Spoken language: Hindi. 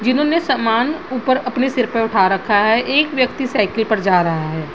जीनोने समान ऊपर अपने सिर पर उठा रखा है एक व्यक्ति साइकिल पर जा रहा है।